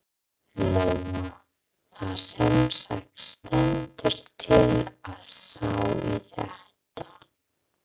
Lóa: Það semsagt stendur til að sá í þetta?